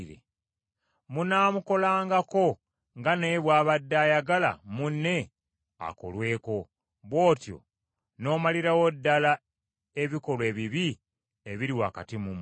munaamukolangako nga naye bw’abadde ayagala munne akolweko. Bw’atyo n’omalirawo ddala ebikolwa ebibi ebiri wakati mu mmwe.